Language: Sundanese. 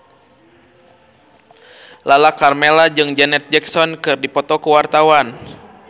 Lala Karmela jeung Janet Jackson keur dipoto ku wartawan